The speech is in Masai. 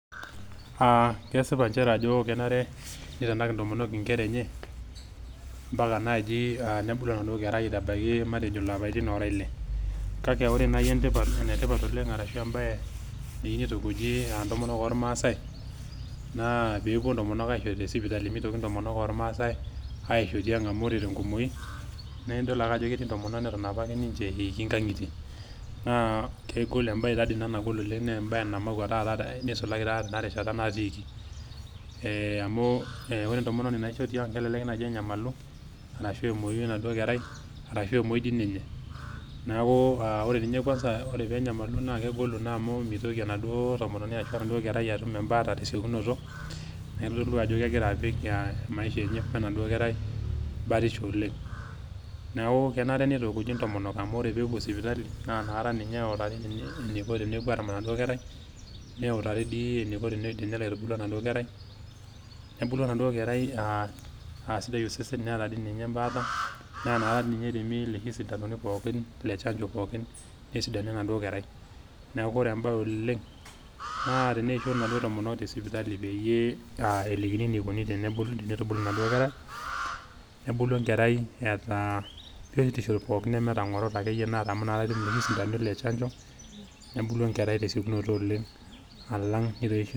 Aa kesipa nchere ajo kenare nitanak ntomonok inkera enye mpaka naji nebulu aitabaiki matejo naji ilapaitin ile. Kake ore naji ene tipat ashu embae neyieu nitukuji ntomonok ormaasae naa peepuo ntomonok aisho te sipitali, mitoki ntomonok ormaasae aisho te tiang amu ore tenkumoi naaa idol ake ajo ketii ntomonok neton apake eiki nkangitie naa kegol , imbae taa dii ina nagol oleng naa embae namakwa neisulaki taata tena rishata natiiki. Ee amu ore entomononi naisho tiang kelelek naji enyamalu arashu emwoyu enaduoo kerai arashu emwoyu dii ninye. Niaku ore ninye kwanza , ore penyamalu mitoki enaduoo tomononi arashu enaduoo kerai atum embaata asioki tesiokinoto, niaku itodolu ajo kegira apika maisha enye wenaduo kerai batisho oleng . Niaku kenare nitukuji ntomonok amu ore peepuo sipitali, naa inakata ninye eutari eniko pepuo aramat enaduo kerai ,neutari dii eniko tenelo aitubulu enaduo kerai . Nebulu enaduoo kerai aa sidai osesen , neeta dii ninye embaata, naaa inakata ninye eremi iloshi sintanoni pookin le chanjo pookin nesidanu enaduoo kerai. Niaku ore embae oleng naa teneisho inaduo tomonok te sipitali peyie elikini enikoni tenitubulu enaduo kerai, nebulu enkerai